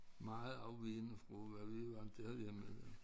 Meget afvigende fra hvad vi er vandt til herhjemme jo